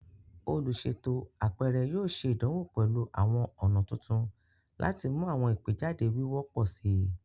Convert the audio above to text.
Oluṣeto apẹrẹ yoo ṣe idanwo pẹlu awọn ọna tuntun lati mu awọn igbejade wiwo pọ si